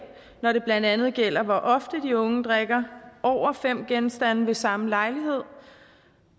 når det blandt andet gælder hvor ofte de unge drikker over fem genstande ved samme lejlighed